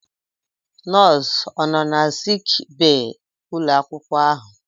Nọọsụ ọ nọ na sik bee ụlọ akwụkwọ ahụ?